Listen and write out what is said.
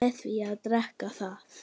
með því að drekka það